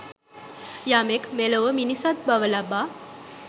යමෙක් මෙලොව මිනිසත් බව ලබා